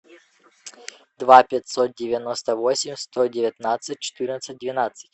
два пятьсот девяносто восемь сто девятнадцать четырнадцать двенадцать